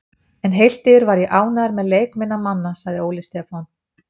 En heilt yfir var ég ánægður með leik minna manna, sagði Óli Stefán.